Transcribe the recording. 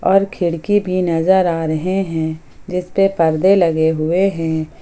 और खिड़की भी नजर आ रहे हैं जिसपे परदे लगे हुए हैं।